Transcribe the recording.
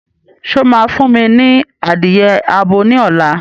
Ṣé o máa fún mi ní adìye abo ní ọ̀la